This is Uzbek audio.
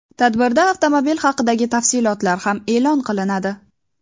Tadbirda avtomobil haqidagi tafsilotlar ham e’lon qilinadi.